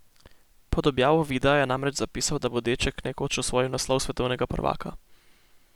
Pod objavo videa je namreč zapisal, da bo deček nekoč osvojil naslov svetovnega prvaka.